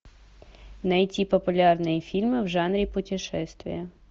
найти популярные фильмы в жанре путешествия